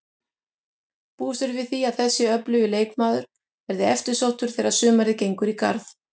Búist er við því að þessi öflugi leikmaður verði eftirsóttur þegar sumarið gengur í garð.